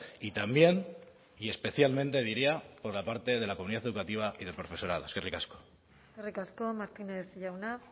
y también y especialmente diría por la parte de la comunidad educativa y del profesorado eskerrik asko eskerrik asko martínez jauna